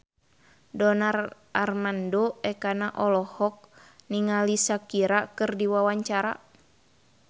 Donar Armando Ekana olohok ningali Shakira keur diwawancara